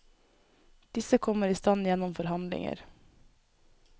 Disse kommer i stand gjennom forhandlinger.